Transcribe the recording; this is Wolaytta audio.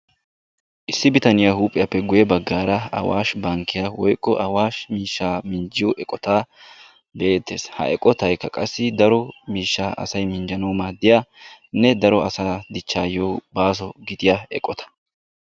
Issi bitaniyaa huuphphiyaappe guye baggaara awashi bankkiyaa woykko awashi miishshaa minjjiyoo eqotaa be'eettees. ha eqotaykka qassi daro miishshaa asay minjjanawu maaddiyaanne daro asaa dichchayoo baaso gidiyaa eqota.